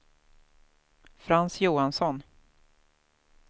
Frans Johansson